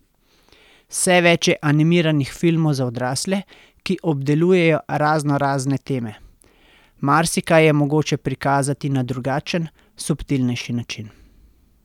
Vse več je animiranih filmov za odrasle, ki obdelujejo raznorazne teme: "Marsikaj je mogoče prikazati na drugačen, subtilnejši način.